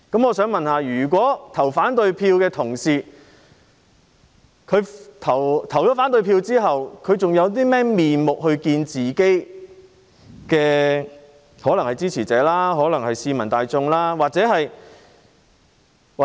我想問，打算投反對票的同事，投票後還有何顏面見自己的支持者或市民大眾？